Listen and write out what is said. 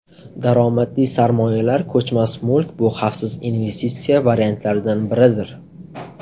Daromadli sarmoyalar Ko‘chmas mulk bu xavfsiz investitsiya variantlaridan biridir.